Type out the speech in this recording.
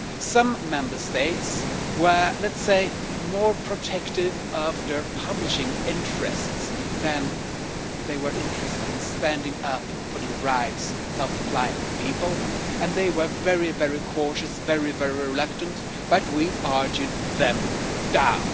Some Member States were, let's say, more protective of their publishing interests than they were interested in standing up for the rights of blind people, and they were very cautious, very reluctant, but we are argued them down.